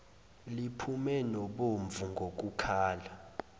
liphume nobomvu ngokukhala